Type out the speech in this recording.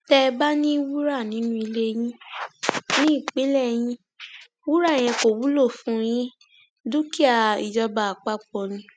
tẹ ẹ bá ní wúrà nínú ilé ní ìpínlẹ yín wúrà yẹn kò wúlò fún yín dúkìá ìjọba àpapọ ni